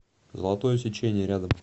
золотое сечение рядом